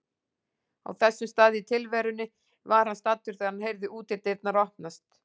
Á þessum stað í tilverunni var hann staddur þegar hann heyrði útidyrnar opnast.